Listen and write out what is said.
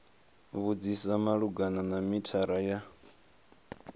vhudzisa malugana na mithara wa